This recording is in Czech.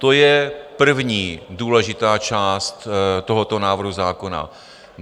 To je první důležitá část tohoto návrhu zákona.